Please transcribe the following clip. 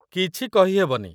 କିଛି କହିହେବନି।